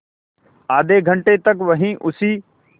आधे घंटे तक वहीं उसी